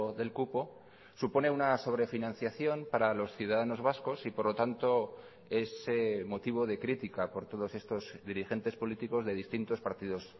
del cupo supone una sobrefinanciación para los ciudadanos vascos y por lo tanto es motivo de crítica por todos estos dirigentes políticos de distintos partidos